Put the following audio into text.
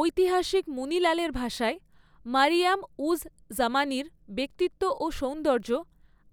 ঐতিহাসিক মুনি লালের ভাষায়, 'মারিয়াম উজ জামানির ব্যক্তিত্ব ও সৌন্দর্য